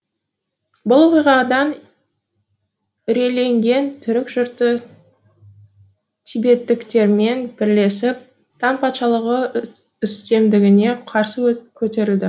бұл оқиғадан үрейленген түрік жұрты тибеттіктермен бірлесіп таң патшалығы үстемдігіне қарсы көтерілді